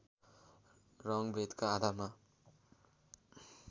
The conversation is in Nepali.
रङ्गभेदका आधारमा